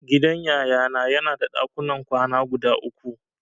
Gidan Yayana yana da dakunan kwana guda uku.